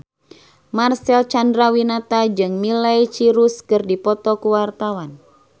Marcel Chandrawinata jeung Miley Cyrus keur dipoto ku wartawan